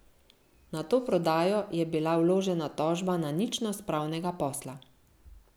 Na to prodajo je bila vložena tožba na ničnost pravnega posla.